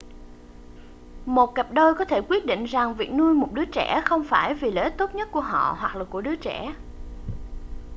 một cặp đôi có thể quyết định rằng việc nuôi một đứa trẻ không phải là vì lợi ích tốt nhất của họ hoặc là của đứa trẻ